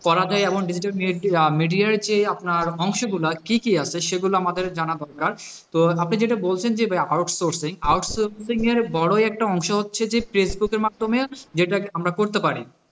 করা যায় এবং digital media যে আপনার অংশ গুলো কি কি আছে সেগুলো আমাদের জানা দরকার তো আপনি যেটা বলছেন যে out sourcing outsourcing এর বড় একটা অংশ হচ্ছে যে ফেসবুকের মাধ্যমে যেটা আমরা করতে পার,